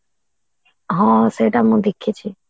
ହଁ ସେଇଟା ମୁଁ ଦେଖିଛି